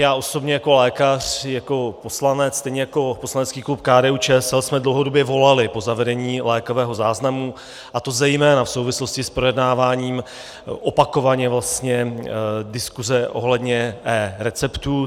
Já osobně jako lékař, jako poslanec, stejně jako poslanecký klub KDU-ČSL jsme dlouhodobě volali po zavedení lékového záznamu, a to zejména v souvislosti s projednáváním opakovaně vlastně diskuze ohledně eReceptů.